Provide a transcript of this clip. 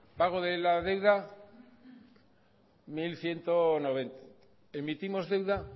pago de la deuda mil ciento noventa emitimos deuda